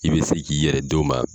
I bɛ se k'i yɛrɛ d'o ma